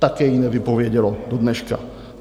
také ji nevypovědělo do dneška.